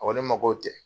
A ko ne ma ko